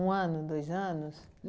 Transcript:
Um ano, dois anos?